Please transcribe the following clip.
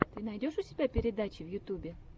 ты найдешь у себя передачи в ютюбе